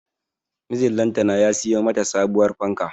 Mijin lantana ya siyo mata sabuwar fanka